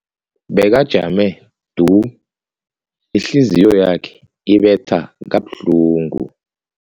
Bekajame du, ihliziyo yakhe ibetha kabuhlungu.